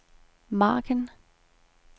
margen